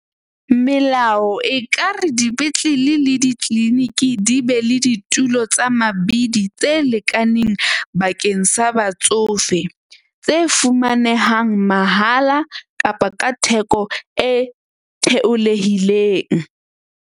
Melao ekare dipetlele le di-clinic di be le ditulo tsa mabidi, tse lekaneng, bakeng sa batsofe tse fumanehang mahala kapa ka theko e theolehileng.